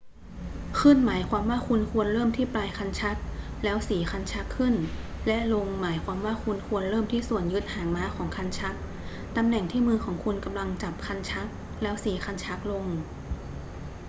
ขึ้นหมายความว่าคุณควรเริ่มที่ปลายคันชักแล้วสีคันชักขึ้น และลงหมายความว่าคุณควรเริ่มที่ส่วนยึดหางม้าของคันชัก ตำแหน่งที่มือของคุณกำลังจับคันชัก ​​แล้วสีคันชักลง